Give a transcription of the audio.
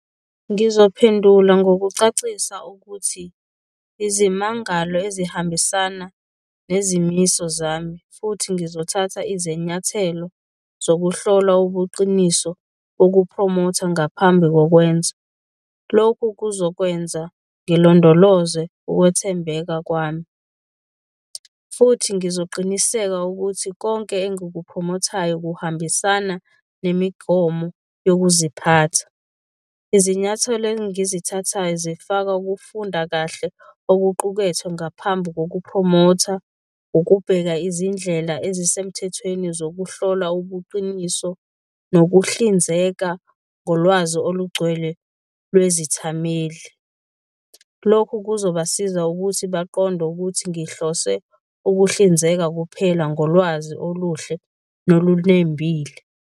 Ngizophendula ngokucacisa ukuthi izimangalo ezihambisana nezimiso zami futhi ngizothatha izenyathelo zokuhlola ubuqiniso bokuphromotha ngaphambi kokwenza. Lokhu kuzokwenza ngilondoloze ukwethembeka kwami, futhi ngizoqiniseka ukuthi konke engukuphromothayo kuhambisana nemigomo yokuziphatha. Izinyathelo engizithathayo zifaka ukufunda kahle okuqukethwe ngaphambi kokuphromotha, ukubheka izindlela ezisemthethweni zokuhlola ubuqiniso, nokuhlinzeka ngolwazi olugcwele lwezithameli. Lokhu kuzobasiza ukuthi baqonde ukuthi ngihlose ukuhlinzeka kuphela ngolwazi oluhle nolunembile.